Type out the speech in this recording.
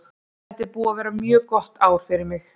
Þetta er búið að vera mjög gott ár fyrir mig.